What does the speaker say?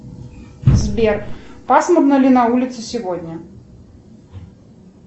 сбер пасмурно ли на улице сегодня